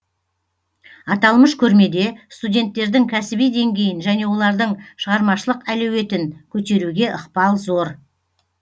аталмыш көрмеде студенттердің кәсіби деңгейін және олардың шығармашылық әлеуетін көтеруге ықпал зор